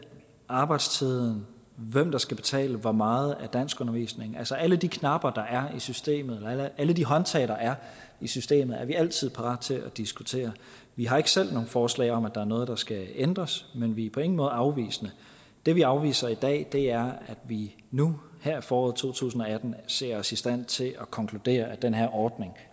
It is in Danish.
arbejdstiden og hvem der skal betale for meget af danskundervisningen altså alle de knapper der er i systemet alle de håndtag der er i systemet er vi altid parate til at diskutere vi har ikke selv noget forslag om at der er noget der skal ændres men vi er på ingen måde afvisende det vi afviser i dag er at vi nu her i foråret to tusind og atten ser os i stand til at konkludere at den her ordning